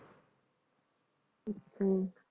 ਹਮ